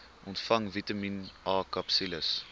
ontvang vitamien akapsules